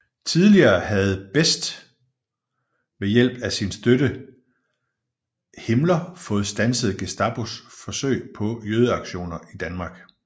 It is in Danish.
Tidligere havde Best ved hjælp af sin støtte Himmler fået standset Gestapos forsøg på jødeaktioner i Danmark